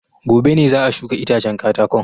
Gobe ne za a shuka itacen katakon.